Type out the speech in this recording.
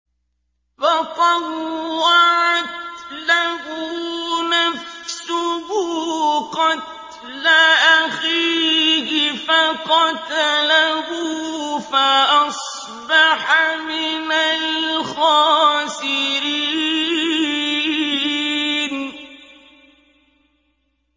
فَطَوَّعَتْ لَهُ نَفْسُهُ قَتْلَ أَخِيهِ فَقَتَلَهُ فَأَصْبَحَ مِنَ الْخَاسِرِينَ